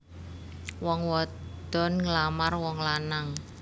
Wong wadon nglamar wong lanang